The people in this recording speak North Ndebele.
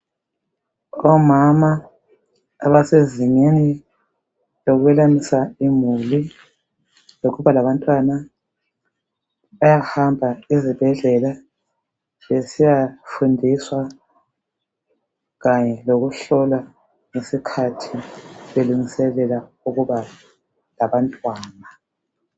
Omama abasezingeni lokwelamisa imuli lokuba labantwana, bayahamba ezibhedlela besiyafundiswa kanye lokuhlolwa ngesikhathi belungiselela ukuba labantwana.